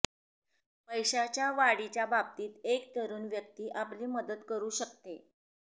पैशांच्या वाढीच्या बाबतीत एक तरुण व्यक्ती आपली मदत करू शकते